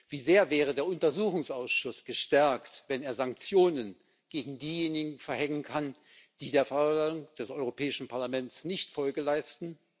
Wie sehr wäre der Untersuchungsausschuss gestärkt, wenn er Sanktionen gegen diejenigen verhängen könnte, die der Vorladung des Europäischen Parlaments nicht Folge leisten?